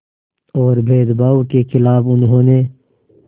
और भेदभाव के ख़िलाफ़ उन्होंने